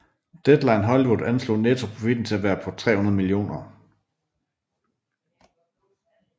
Deadline Hollywood anslog nettoprofitten til at være på 300 mio